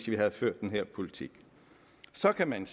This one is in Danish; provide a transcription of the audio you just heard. vi havde ført den her politik så kan man